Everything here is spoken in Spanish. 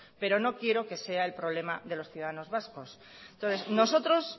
pero no quiero que sea el problema de los ciudadanos vascos entonces nosotros